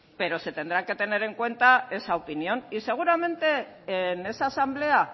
pero se tendrá que tener en cuenta esa opinión seguramente en esa asamblea